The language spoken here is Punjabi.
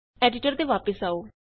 ਐਡੀਟਰ ਤੇ ਵਾਪਸ ਆਉ